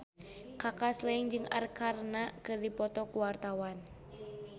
Kaka Slank jeung Arkarna keur dipoto ku wartawan